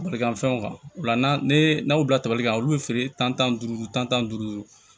Barika fɛnw kan o la n'an y'u bila tabali kan olu be feere tan duuru tan duuru